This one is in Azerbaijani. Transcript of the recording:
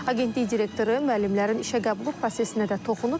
Agentlik direktoru müəllimlərin işə qəbulu prosesinə də toxunub.